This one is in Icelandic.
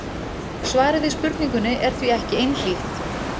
Svarið við spurningunni er því ekki einhlítt.